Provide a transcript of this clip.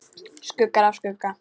Skuggar af skugga.